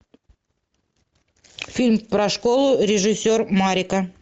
фильм про школу режиссер марика